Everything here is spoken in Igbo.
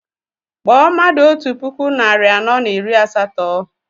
Kpọọ mmadụ otú puku narị anọ na iri asatọ!